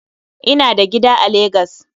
Ina da gida a Lagos